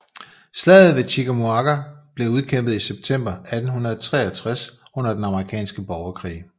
Slaget ved Chickamauga blev udkæmpet i september 1863 under Den Amerikanske Borgerkrig